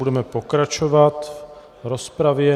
Budeme pokračovat v rozpravě.